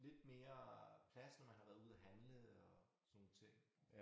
Lidt mere plads når man har været ude at handle og sådan nogle ting